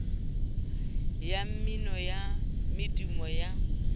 ya mmino ya medumo ya